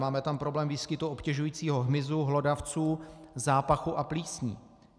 Máme tam problém výskytu obtěžujícího hmyzu, hlodavců, zápachu a plísní.